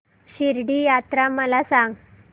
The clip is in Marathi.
शिर्डी यात्रा मला सांग